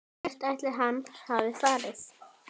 Hvert ætli hann hafi farið?